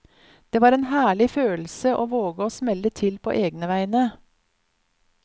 Det var en herlig følelse å våge å smelle til på egne vegne.